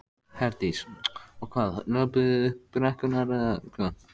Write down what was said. Herdís: Og hvað, löbbuðu þið upp brekkurnar eða hvað?